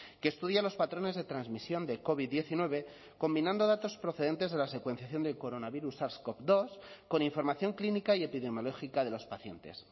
que estudia los patrones de transmisión de covid diecinueve combinando datos procedentes de la secuenciación del coronavirus sars cov dos con información clínica y epidemiológica de los pacientes